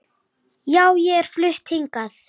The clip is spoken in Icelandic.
Já, ég er flutt hingað.